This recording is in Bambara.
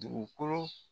Dugukolo